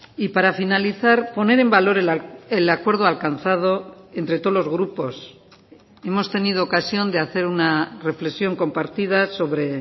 y para finalizar poner en valor el acuerdo alcanzado entre todos los grupos hemos tenido ocasión de hacer una reflexión compartida sobre